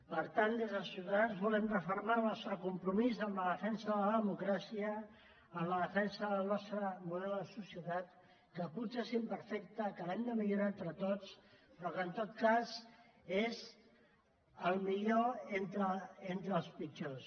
per tant des de ciutadans volem refermar el nostre compromís en la defensa de la democràcia en la defensa del nostre model de societat que potser és imperfecte que l’hem de millorar entre tots però que en tot cas és el millor entre els pitjors